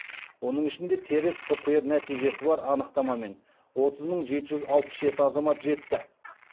оның ішінде теріс птр нәтижесі бар анықтамамен отыз мың жеті жүз алпыс жеті азамат жетті